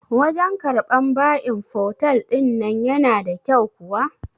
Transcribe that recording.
Wajan karɓan ba'in fotel ɗin nan yana da kyau kuwa?